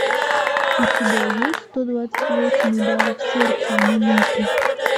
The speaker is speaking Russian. у тебя есть сто двадцать восемь ударов сердца в минуту